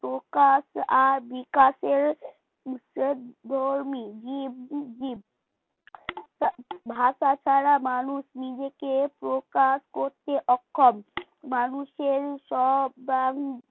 প্রকাশ আর বিকাশের ভাষা ছাড়া মানুষ নিজেকে প্রকাশ করতে অক্ষম মানুষের সব জ্ঞান